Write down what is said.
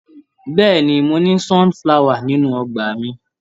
Bẹ́ẹ̀ni. Mo ní sunflower nínú ọgbà mi.